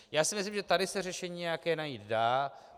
Já si myslím, že tady se řešení nějaké najít dá.